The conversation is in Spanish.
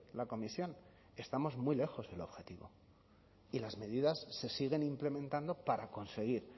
la comisión estamos muy lejos del objetivo y las medidas se siguen implementando para conseguir